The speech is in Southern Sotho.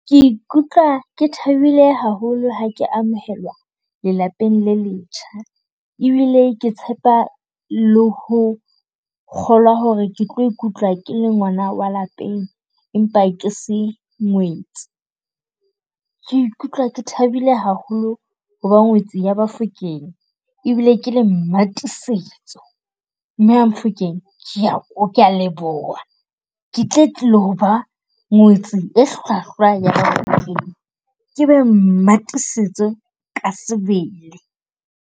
Ke ikutlwa ke thabile haholo ha ke amohelwa lelapeng le letjha, ebile ke tshepa le ho kgolwa hore ke tlo ikutlwa ke le ngwana wa lapeng, empa ke se ngwetsi. Ke ikutlwa ke thabile haholo ho ba ngwetsi ya Bafokeng. Ebile ke le Mmatiisetso. Mme Mamofokeng, ke a leboha. Ke tlilo ba ngwetsi e hlwahlwa ya Mofokeng, ke be Mmatiisetso ka sebele.